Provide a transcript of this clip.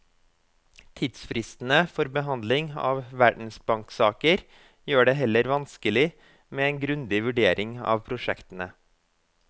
Tidsfristene for behandling av verdensbanksaker gjør det heller vanskelig med en grundig vurdering av prosjektene.